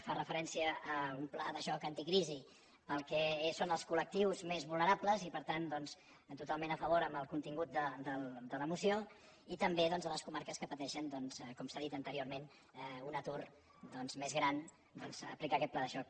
fan referència a un pla de xoc anticrisi per al que són els col·lectius més vulnerables i per tant doncs totalment a favor amb el contingut de la moció i també doncs a les comarques que pateixen com s’ha dit anteriorment un atur més gran aplicar hi aquest pla de xoc